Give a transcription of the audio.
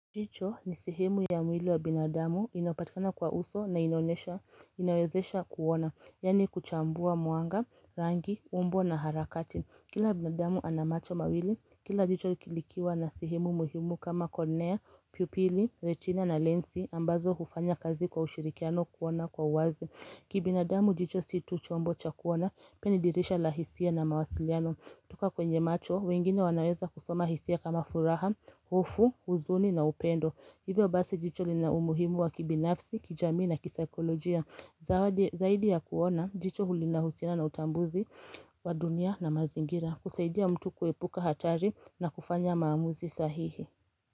Jicho ni sehemu ya mwili wa binadamu inayopatkana kwa uso na inawezesha kuona, yaani kuchambua mwanga, rangi, umbo na harakati. Kila binadamu ana macho mawili, kila jicho likiwa na sehemu muhimu kama kornea, pupili, retina na lensi ambazo hufanya kazi kwa ushirikiano kuona kwa uwazi. Kibinadamu jicho si tu chombo cha kuona, pia ni dirisha la hisia na mawasiliano. Toka kwenye macho, wengine wanaweza kusoma hisia kama furaha, hofu, huzuni na upendo. Hivyo basi jicho lina umuhimu wa kibinafsi, kijamii na kisaikolojia. Zaidi ya kuona, jicho linahusiana na utambuzi wa dunia na mazingira. Kusaidia mtu kuepuka hatari na kufanya maamuzi sahihi.